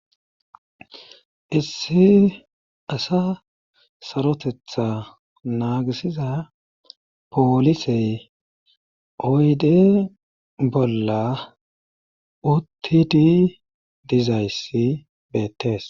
Issi asa sarotetha naagisiza poolisey oydde bolla uttidi diza issi beettes.